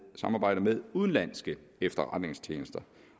samarbejder med udenlandske efterretningstjenester